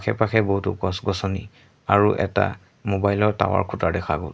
এপাশে বহুতো গছ গছনি আৰু এটা মোবাইল ৰ টাৱাৰ খুঁটা দেখা গ'ল।